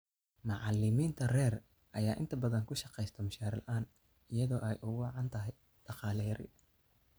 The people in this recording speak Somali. Macallimiinta rer ayaa inta badan ku shaqeysta mushaar la�aan iyadoo ay ugu wacan tahay dhaqaale yari.